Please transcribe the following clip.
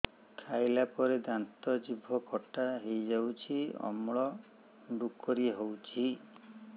ଖାଇଲା ପରେ ଦାନ୍ତ ଜିଭ ଖଟା ହେଇଯାଉଛି ଅମ୍ଳ ଡ଼ୁକରି ହଉଛି